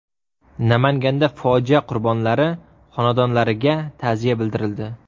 Namanganda fojia qurbonlari xonadonlariga ta’ziya bildirildi.